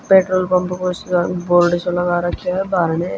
Petrol pump को सो board सो लगा राख्यो ह बाहरणह।